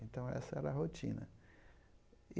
Então, essa era a rotina.